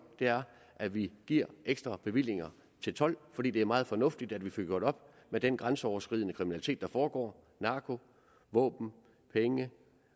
er at vi giver ekstra bevillinger til told fordi det er meget fornuftigt at vi får gjort op med den grænseoverskridende kriminalitet der foregår narko våben penge